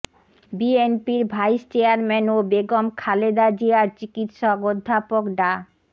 বিএনপির vice chairman ও বেগম খালেদা জিয়ার চিকিৎসক অধ্যাপক ডা